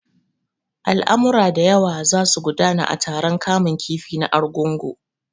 Al'amura da yawa za su gudana a taron kamun kifi na Argungu.